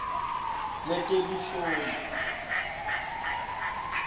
letebunhloli